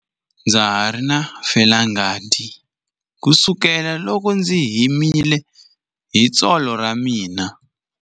Ndza ha ri na felangati kusukela loko ndzi himile hi tsolo ra mina.